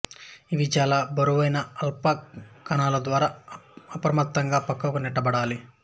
అవి చాలా బరువైన ఆల్ఫా కణాల ద్వారా అప్రయత్నంగా పక్కకు నెట్టబడాలి